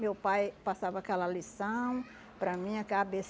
Meu pai passava aquela lição para mim, ah á bê